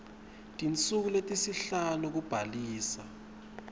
tinsuku letisihlanu kubhalisa